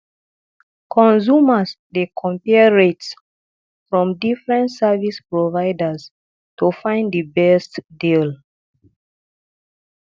consumers dey compare rates from different service providers to find the best deal